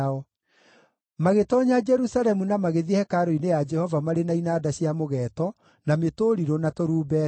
Magĩtoonya Jerusalemu na magĩthiĩ hekarũ-inĩ ya Jehova marĩ na inanda cia mũgeeto, na mĩtũrirũ, na tũrumbeta.